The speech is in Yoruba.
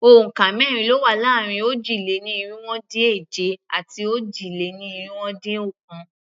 Òǹkà mẹ́rin ló wà láàrin òjì-lé-ní-irinwó-dín-èje àti òjì-lé-ní-irinwó-dín-ọ̀kan.